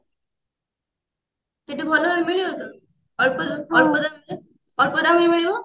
ସେଠି ଭଲ ମିଳିବ ତ ଅଳ୍ପ ଅଳ୍ପ ଦାମ ରେ ଅଳ୍ପ ଦାମ ରେ ମିଳିବ